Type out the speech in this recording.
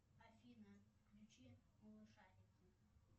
афина включи малышарики